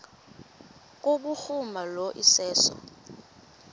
kubhuruma lo iseso